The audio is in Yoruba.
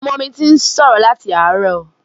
Ọmọ mi ti ń sọ̀rọ̀ láti àárọ̀.